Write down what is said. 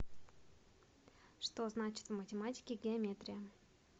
что значит в математике геометрия